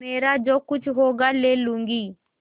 मेरा जो कुछ होगा ले लूँगी